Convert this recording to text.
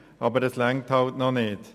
Aber das reicht noch nicht.